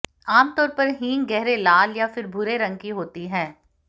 आमतौर पर हींग गहरे लाल या फिर भूरे रंग की होती है